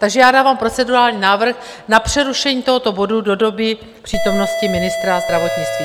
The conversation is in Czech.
Takže já dávám procedurální návrh na přerušení tohoto bodu do doby přítomnosti ministra zdravotnictví.